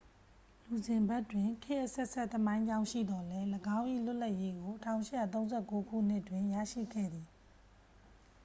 လူဇင်ဘတ်တွင် ခေတ်အဆက်ဆက် သမိုင်းကြောင်းရှိသော်လည်း ၎င်း၏ လွတ်လပ်ရေးကို 1839 ခုနှစ်တွင် ရရှိခဲ့သည်